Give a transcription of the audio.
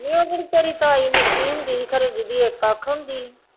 ਨੀ ਉਹ ਜਿਹੜੀ ਤਾਈ ਨਿੱਕੀ ਹੁੰਦੀ ਸੀ ਖਨੀ ਜਿਹਦੀ ਇੱਕ ਅੱਖ ਹੁੰਦੀ ਸੀ